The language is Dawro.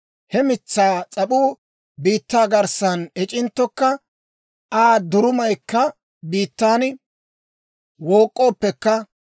He mitsaa s'ap'uu biittaa garssan ec'inttokka, Aa durumaykka biittan wook'k'ooppekka,